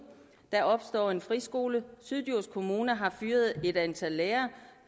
der opstår en friskole syddjurs kommune har fyret et antal lærere